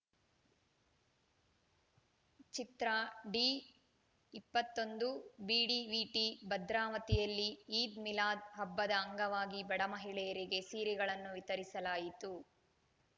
ಚಿತ್ರ D ಇಪ್ಪತ್ತೊಂದು BDVT ಭದ್ರಾವತಿಯಲ್ಲಿ Eid Milad ಹಬ್ಬದ ಅಂಗವಾಗಿ ಬಡ ಮಹಿಳೆಯರಿಗೆ ಸೀರೆಗಳನ್ನು ವಿತರಿಸಲಾಯಿತು